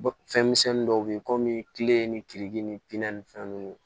Fɛn misɛnnin dɔw be yen komi kile ni kiriki ni pizɔn ni fɛn nunnu